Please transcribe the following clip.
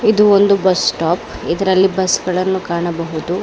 ಇದು ಒಂದು ಬಸ್ಸ್ಟಾಪ್ ಇದರಲ್ಲಿ ಬಸ್ ಗಳನ್ನು ಕಾಣಬಹುದು.